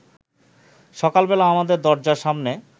সকালবেলা আমাদের দরজার সামনে